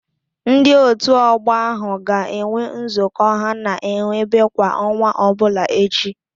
Ndị Òtù Ọgbọ ahụ ga-enwe nzukọ ha na-enwebe kwa ọnwa ọbụla echi.